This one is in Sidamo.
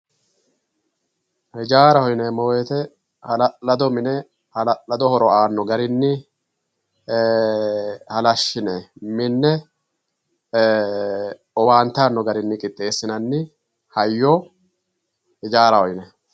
ijaaraho yineemmo woyiite hala'lado mine hala'lado horo aanno garinni halashshine minne owaante aanno garinni qixxeesinayi hayyo ijaaraho yinayii.